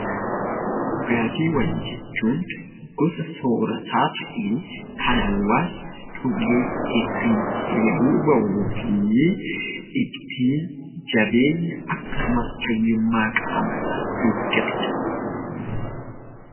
Dhugaatiiwwan jechuun gosa soorataa ta'ee, kan hawaasni dhugee ittiin dheebuu ba'uu fi ittiin jabeenya akkasumas fayyummaa qaama isaa eeggatudha.